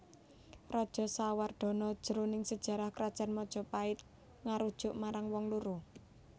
Rajasawardhana jroning sajarah Krajan Majapait ngarujuk marang wong loro